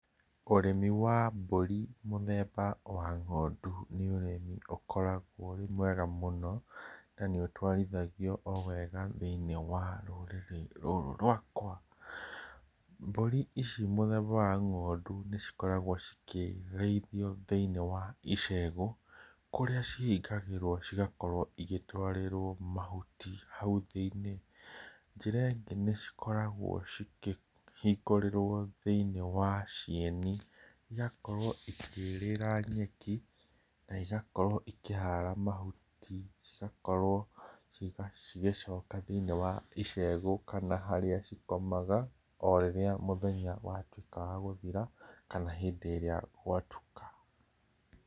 Ũrĩmi wa mbũri mũtheba wa ngondũ, nĩ ũrĩmi ũkoragwo wĩ mwega mũno, na nĩ ũtwarithagio wega thĩinie wa rũrĩrĩ rwakwa. Mbũri ici mũtheba wa ngondũ nĩ cĩkoragwo cĩkĩrĩithio thĩinie wa icegũ, kũrĩa cihingagĩrwo cigakorwo igĩtwarĩrwo mahũti haũ thĩinie, njĩra ĩngĩ nĩ cikoragwo cikĩhingũrĩrwo thĩinie wa cieni igakorwo ikĩrĩra nyeki, na igakorwo ikĩhara mahũti, cigakorwo cigĩcoka thĩinie wa icegũ kana harĩa cikomaga, orĩrĩa mũthenya watuĩka wa gũthira, kana hĩndĩ ĩrĩa gwatuka.